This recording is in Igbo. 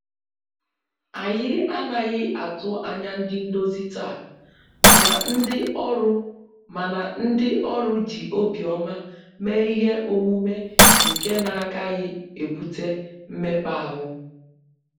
Anyị anaghị atụ anya ndị ndozi taa, mana ndị ọrụ mana ndị ọrụ ji obiọma mee Ihe omume nke na agaghị ebute mmekpa ahụ